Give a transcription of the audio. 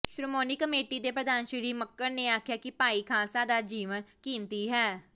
Shiromani committee ਦੇ ਪ੍ਰਧਾਨ ਸ੍ਰੀ ਮੱਕੜ ਨੇ ਆਖਿਆ ਕਿ ਭਾਈ ਖ਼ਾਲਸਾ ਦਾ ਜੀਵਨ ਕੀਮਤੀ ਹੈ